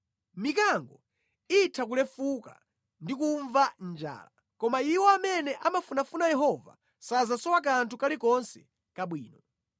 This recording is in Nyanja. Mikango itha kulefuka ndi kumva njala koma iwo amene amafunafuna Yehova sasowa kanthu kalikonse kabwino.